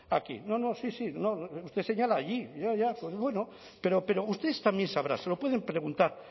a aquí no no sí sí usted señala allí ya ya pues bueno pero ustedes también sabrán se lo pueden preguntar